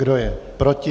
Kdo je proti?